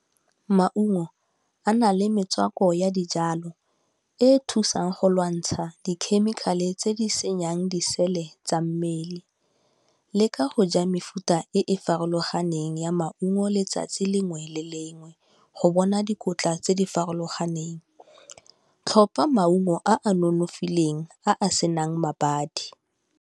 Maungo a nale metswako ya dijalo e thusang go lwantsha di khemikhale tse di senyang disele tsa mmele. Leka go ja mefuta e e farologaneng ya maungo letsatsi lengwe le lengwe go bona dikotla tse di farologaneng. Tlhopa maungo a a nonofileng, a a senang mabadi.